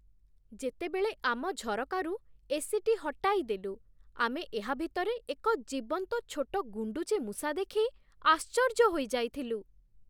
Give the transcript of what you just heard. ଯେତେବେଳେ ଆମ ଝରକାରୁ ଏସିଟି ହଟାଇ ଦେଲୁ, ଆମେ ଏହା ଭିତରେ ଏକ ଜୀବନ୍ତ ଛୋଟ ଗୁଣ୍ଡୁଚି ମୂଷା ଦେଖି ଆଶ୍ଚର୍ଯ୍ୟ ହୋଇଯାଇଥିଲୁ।